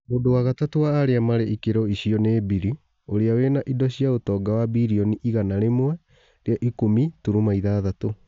Mũndũ wa gatatũ wa arĩa marĩ ikĩro icio nĩ Bili ũrĩa wĩna indo cia ũtonga wa birioni igana rĩmwe rĩa ikũmi turuma ithathatũ.